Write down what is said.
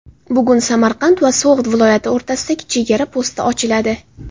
Bugun Samarqand va So‘g‘d viloyati o‘rtasidagi chegara posti ochiladi.